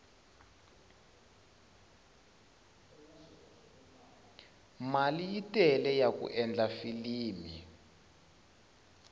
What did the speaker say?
mali yi tele yaku endla filimi